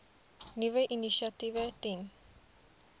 nuwe initiatiewe ten